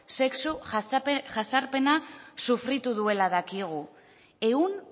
sexu jazarpena sufritu duela dakigu ehun